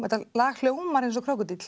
þetta lag hljómar eins og krókódíll